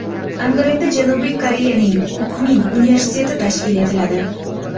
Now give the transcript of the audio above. Angrenda Janubiy Koreyaning Kukmin universiteti tashkil etiladi.